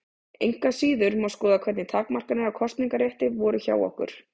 Engu að síður má skoða hvernig takmarkanir á kosningarétti voru hjá okkur.